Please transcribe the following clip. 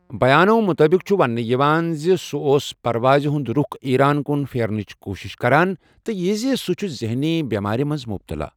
بَیانو مُطٲبق چھُ ونٛنہٕ یِوان زِ سُہ اوس پرواز ہنٛد رُخ ایران کُن پھیرنٕچ کوٗشش کران، تہٕ یہِ زِ سُہ چھُ ذہنی بٮ۪مٲرِ منٛز مُبتلا۔